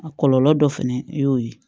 A kɔlɔlɔ dɔ fɛnɛ y'o ye